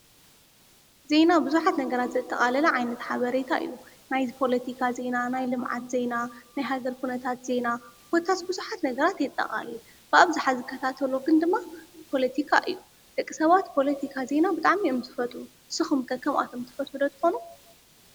ዜና ቡዙሓት ነገራት ዘጠቃለለ ዓይናታት ሓበሬታ እዩ፡፡ ናይ ፖለቲካ ዜና፣ ናይ ልምዓት ዜና፣ ናይ ሃገር ኩነታት ዜና ኮታስ ቡዙሓት ነገባራት የጠቃልል፡፡ ብኣብዝሓ ዝከታተሎ ግን ድማ ፖሊቲካ እዩ፡፡ ደቂ ሰባት ፖለቲካ ዜና ብጣዕሚ እዮም ዝፈትዉ፡፡ ንስኩም ከ ከምኣቶም ትፈትዉ ዶ ትኮኑ?